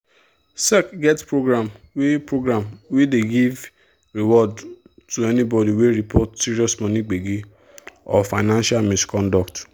sec get program wey program wey dey give reward to anybody wey report serious money gbege or financial misconduct.